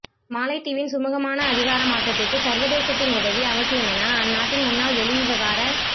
மாலைதீவின் சுமூகமான அதிகார மாற்றத்திற்கு சர்வதேசத்தின் உதவி அவசியமென அந்நாட்டின் முன்னாள் வெளிவிவகார